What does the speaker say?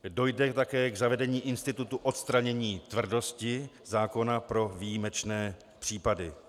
Dojde také k zavedení institutu odstranění tvrdosti zákona pro výjimečné případy.